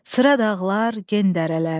Sıra dağlar, gen dərələr.